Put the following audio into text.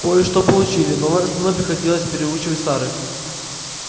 кое-что получили но в основном приходилось переучивать старых